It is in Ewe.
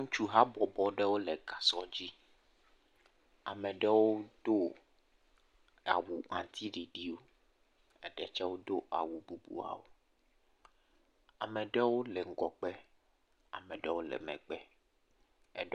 Ŋutsu habɔbɔ ɖewo le gasɔ dzi, ame ɖewo do awu aŋuti ɖiɖiwo, eɖe tsɛ wodo awu bubuawo. Ame ɖewo le ŋgɔgbe, ame ɖewo megbe.